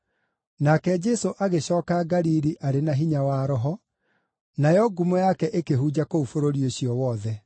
Nake Jesũ agĩcooka Galili arĩ na hinya wa Roho, nayo ngumo yake ĩkĩhunja kũu bũrũri ũcio wothe.